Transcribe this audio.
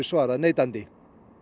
svarað neitandi